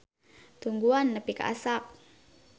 Tungguan nepi ka asak.